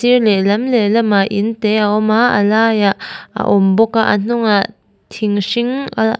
sir lehlam lehlamah in te a awm a a laiah a awm bawk a a hnungah thing hring ah awm --